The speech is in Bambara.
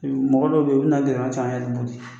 Mɔgɔ dɔ bɛ yen o bɛna gɛlɛman ca an yɛrɛ bolo